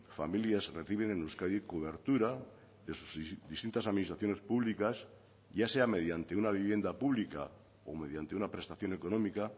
familias reciben en euskadi cobertura de sus distintas administraciones públicas ya sea mediante una vivienda pública o mediante una prestación económica